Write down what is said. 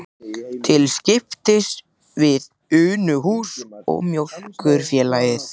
Til skiptis við Unuhús og Mjólkurfélagið.